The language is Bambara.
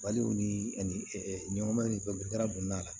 Baliw ni ani ɲɔgɔn ni fɛnw garisuma la